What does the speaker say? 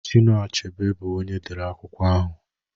Chinua Achebe bu onye dere akwụkwọ ahụ